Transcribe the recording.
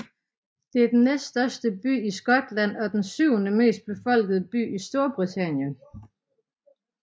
Det er den næststørste by i Skotland og den syvende mest befolkede by i Storbritannien